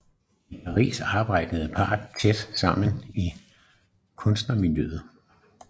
I Paris arbejdede parret tæt sammen i kunstnermiljøet